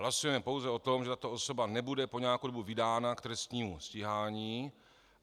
Hlasujeme pouze o tom, že tato osoba nebude po nějakou dobu vydána k trestnímu stíhání.